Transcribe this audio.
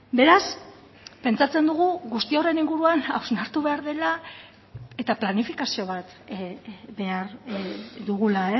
beraz pentsatzen dugu guzti horren inguruan hausnartu behar dela eta planifikazio bat behar dugula